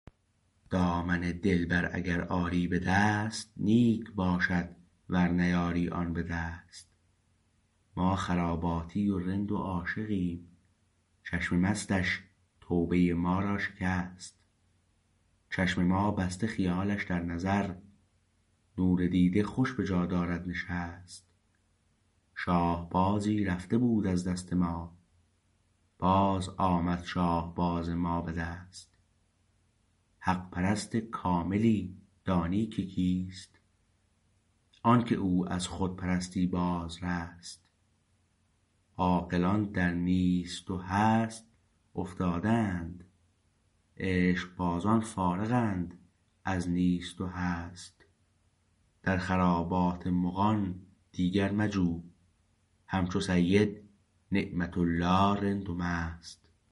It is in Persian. دامن دلبر اگر آری به دست نیک باشد ور نیاری آن به دست ما خراباتی و رند و عاشقیم چشم مستش توبه ما را شکست چشم ما بسته خیالش در نظر نور دیده خوش به جا دارد نشست شاهبازی رفته بود از دست ما باز آمد شاهباز ما به دست حق پرست کاملی دانی که کیست آنکه او از خودپرستی باز رست عاقلان در نیست و هست افتاده اند عشقبازان فارغند از نیست و هست در خرابات مغان دیگر مجو همچو سید نعمت الله رند و مست